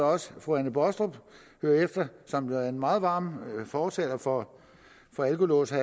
også at fru anne baastrup hører efter for hun er en meget varm fortaler for alkolåse